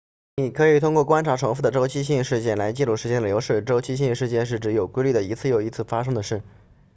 你可以通过观察重复的周期性事件来记录时间的流逝周期性事件是指有规律地一次又一次发生的事